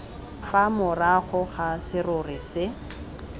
fa morago ga serori se